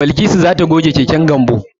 Balkisu za ta goge keken Gambo.